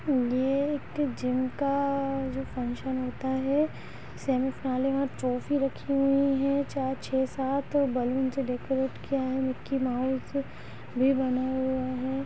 ये एक जिम का जो फंक्शन होता है सेमी फाइनल और ट्रॉफी रखी हुई हैं चार छे सात बैलून से डेकोरेट किया है मिक्की माउस भी बना हुआ है।